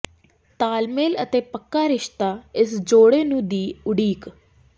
ਤਾਲਮੇਲ ਅਤੇ ਪੱਕਾ ਰਿਸ਼ਤਾ ਇਸ ਜੋੜੇ ਨੂੰ ਦੀ ਉਡੀਕ